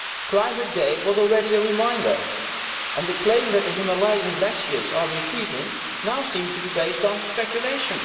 Climategate' was already a reminder, and the claim that the Himalayan glaciers are retreating now seems to be based on speculation.